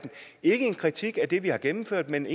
ikke en kritik af det vi har gennemført men